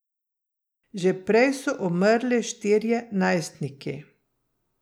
Že prej so umrli štirje najstniki.